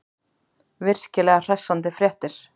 Virkilega hressandi fréttir.